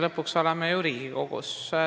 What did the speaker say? Lõpuks me oleme ju praegu Riigikogus.